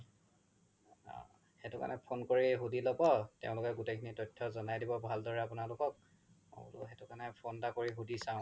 অ সেইতো কাৰনে phone কৰি সুধি ল্'ব তেওলোকে গুতেই খিনি তথ্য জ্নাই দিব ভাল দৰে আপোনালোকক সেই কাৰনে phone এটা কৰি সুধি চাও